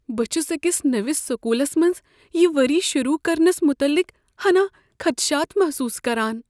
بہٕ چھس أکس نٔوس سکولس منٛز یہ ؤری شروٗع کرنس متعلق ہنا خدشات محسوٗس کران۔